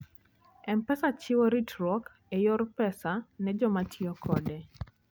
M-Pesa chiwo ritruok e yor pesa ne joma tiyo kode.